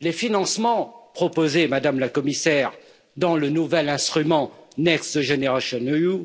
Les financements proposés, Madame la Commissaire, dans le nouvel instrument Next Generation EU